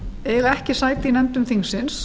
eiga ekki sæti í nefndum þingsins